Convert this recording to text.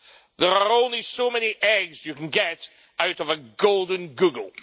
There are only so many eggs you can get out of a golden Google!